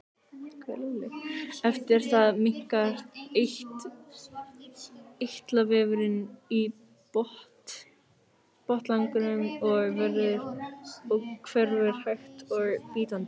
eftir það minnkar eitlavefurinn í botnlanganum og hverfur hægt og bítandi